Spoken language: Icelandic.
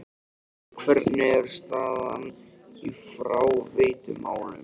En hvernig er staðan í fráveitumálum?